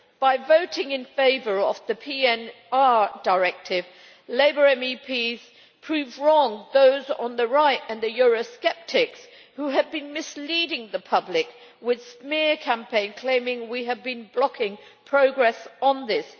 By voting in favour of the PNR Directive, Labour MEPs proved wrong those on the right and the Eurosceptics, who had been misleading the public with a smear campaign claiming we had been blocking progress on this.